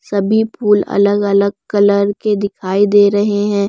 सभी फूल अलग अलग कलर के दिखाई दे रहे हैं।